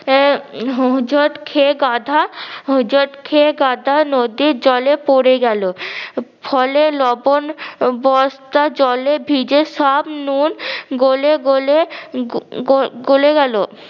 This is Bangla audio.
এ হজোট খেয়ে গাধা হজোট খেয়ে গাধা নদীর জলে পরে গেলো ফলে লবন বস্তা জলে ভিজে সব নুন গোলে গোলে গোলে গেলো